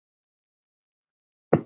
Þeir eru líkir í útliti.